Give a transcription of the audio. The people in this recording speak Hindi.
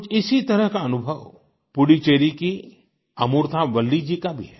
कुछ इसी तरह का अनुभव पुडुचेरी की अमूर्था वल्ली जी का भी है